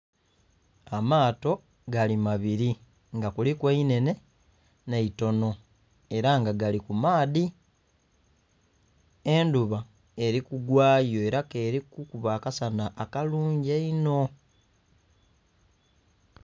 Amaato gali mabiri nga kuliku einhenhe n'eitono era nga gali kumaadhi, endhuba eri kugwayo era kerikukuba akasana akalungi einho.